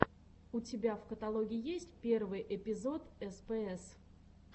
у тебя в каталоге есть первый эпизод спс